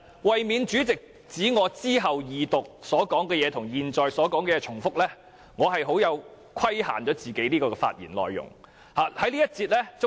為免主席指我稍後在二讀辯論的發言與現在的發言重複，我規限了這次發言的內容。